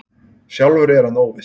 Sjálfur er hann óviss.